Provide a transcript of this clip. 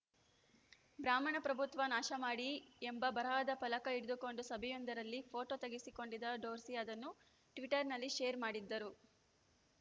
ಬ್ರಾಹ್ಮಣ ಪ್ರಭುತ್ವ ನಾಶಮಾಡಿ ಎಂಬ ಬರಹದ ಫಲಕ ಹಿಡಿದುಕೊಂಡು ಸಭೆಯೊಂದರಲ್ಲಿ ಫೋಟೊ ತೆಗೆಸಿಕೊಂಡಿದ್ದ ಡೋರ್ಸಿ ಅದನ್ನು ಟ್ವೀಟರ್‌ನಲ್ಲಿ ಷೇರ್‌ ಮಾಡಿದ್ದರು